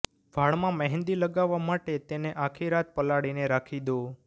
વાળમાં મહેંદી લગાવવા માટે તેને આખી રાત પલાળીને રાખી દો